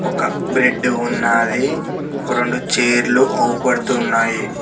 ఒక బ్రెడ్ ఉన్నాది. రొండు చైర్లు అవుపడుతున్నాయి.